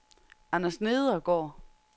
Anders Nedergaard